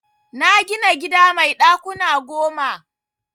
Na gina gida mai ɗakuna goma.